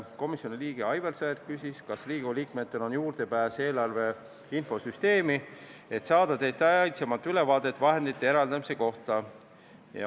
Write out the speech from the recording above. Komisjoni liige Aivar Sõerd küsis, kas Riigikogu liikmetel on juurdepääs eelarve infosüsteemi, et saada detailsemat ülevaadet vahendite eraldamise kohta.